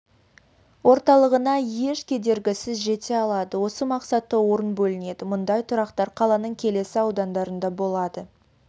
орталығына еш кедергісіз жете алады осы мақсатта орын бөлінеді мұндай тұрақтар қаланың келесі аудандарында болады